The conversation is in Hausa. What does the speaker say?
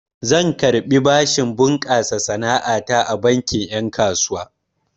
Zan karɓi bashin bunƙasa sana'a ta a bankin ƴen kasuwa.